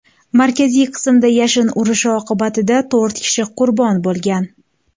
Markaziy qismida yashin urishi oqibatida to‘rt kishi qurbon bo‘lgan.